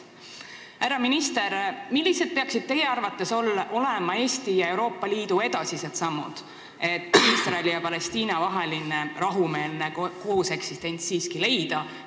Härra minister, millised peaksid teie arvates olema Eesti ja Euroopa Liidu edasised sammud, et Iisraeli ja Palestiina vaheline rahumeelne kooseksistents siiski saavutada?